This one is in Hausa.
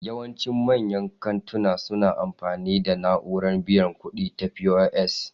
Yawancin manyan kantina suna amfani da na'urar biyan kuɗi ta POS